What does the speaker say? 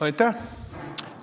Aitäh!